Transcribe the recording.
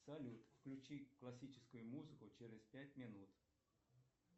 салют включи классическую музыку через пять минут